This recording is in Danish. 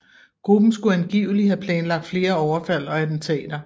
Gruppen skulle angiveligt have planlagt flere overfald og attentater